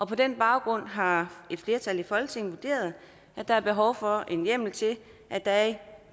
på den baggrund har et flertal i folketinget vurderet at der er behov for en hjemmel til at der i